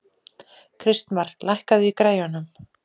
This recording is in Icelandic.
Kristmar, lækkaðu í græjunum.